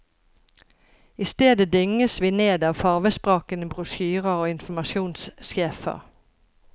I stedet dynges vi ned av farvesprakende brosjyrer og informasjonssjefer.